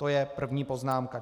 To je první poznámka.